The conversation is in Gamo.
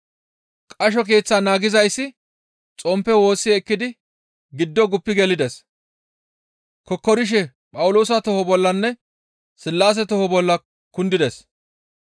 Qasho keeththaa naagizayssi xomppe woossi ekkidi giddo guppi gelides; kokkorishe Phawuloosa toho bollanne Sillaase toho bolla kundides.